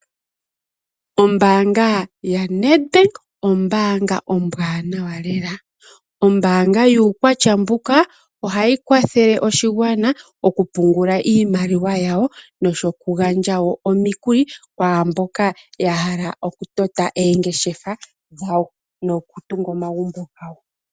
Ombaanga ya Nedbank ombaanga ombwaanawa lela. Ombaanga yuukwatya mbuka oha yi kwathele oshigwana okupungula iimaliwa yawo, noku gandja woo omikuli kwaamboka ya hala oku tota eengeshe dhawo noku tunga omagumbo gawo.